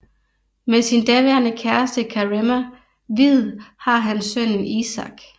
Med sin daværende kæreste Karema Hviid har han sønnen Isak